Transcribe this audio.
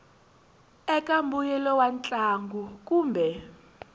eka mbuyelo wa ntlangu kumbe